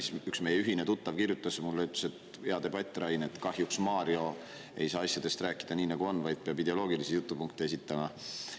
Siis üks meie ühine tuttav kirjutas mulle ja ütles, et hea debatt, Rain, aga kahjuks Mario ei saa asjadest rääkida nii, nagu on, vaid peab ideoloogilisi jutupunkte esitama.